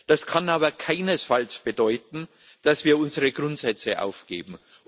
Das kann aber keinesfalls bedeuten, dass wir unsere Grundsätze aufgeben.